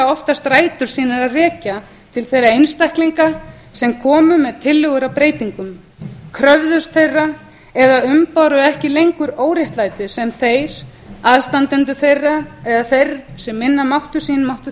oftast rætur sínar að rekja til þeirra einstaklinga sem komu með tillögur að breytingum kröfðust þeirra eða umbáru ekki lengur óréttlætið sem þeir aðstandendur þeirra eða þeir sem minna máttu sín máttu